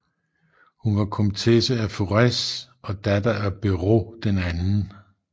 Hun var komtesse af Forez og datter af Beraud II